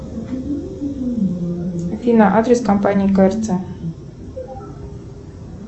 афина адрес компании крц